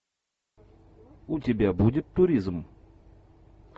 у тебя будет туризм